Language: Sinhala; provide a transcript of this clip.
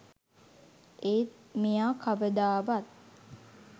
ඒත් මෙයා කවදාවත්